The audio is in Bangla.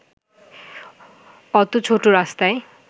অত ছোট রাস্তায়